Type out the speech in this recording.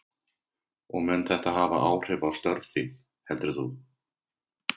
Telma: Og mun þetta hafa áhrif á störf þín heldur þú?